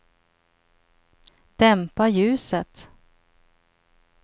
dämpa ljuset